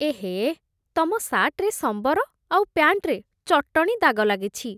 ଏହେ! ତମ ସାର୍ଟ୍‌ରେ ସମ୍ବର ଆଉ ପ୍ୟାଣ୍ଟ୍‌ରେ ଚଟଣୀ ଦାଗ ଲାଗିଛି ।